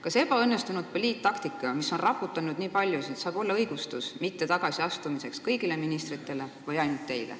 Kas ebaõnnestunud poliittaktika puhul, mis on raputanud nii paljusid, saab kuidagi õigustada teie või kõigi ministrite mittetagasiastumist?